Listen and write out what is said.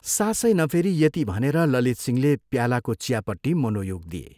सासै नफेरी यति भनेर ललितसिंहले प्यालाको चियापट्टि मनोयोग दिए।